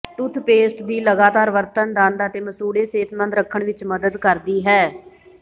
toothpaste ਦੀ ਲਗਾਤਾਰ ਵਰਤਣ ਦੰਦ ਅਤੇ ਮਸੂੜੇ ਸਿਹਤਮੰਦ ਰੱਖਣ ਵਿੱਚ ਮਦਦ ਕਰਦੀ ਹੈ